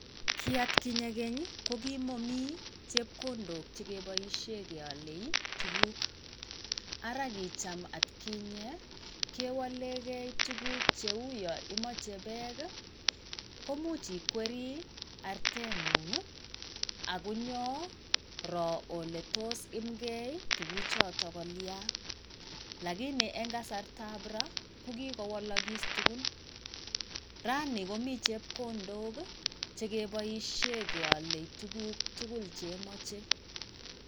Kii atkinye keng' ko kimomii chepkondok chekeboishei kealei tuguk. Ara kijam atkinye kewalegei tuguk cheu yaimage beg komuch iwkeri artet ng'ung' akonyoro ole toyemgei tuguchoto kolya. Lakini eng kasartab ra kikowalakis tugun rani komii chepkondok chekeboishei kealei tuguk tugul chemachei.